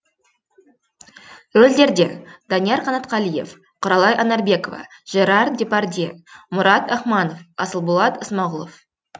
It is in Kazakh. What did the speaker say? рөлдерде данияр қанатқалиев құралай анарбекова жерар депардье мұрат ахманов асылболат исмағұлов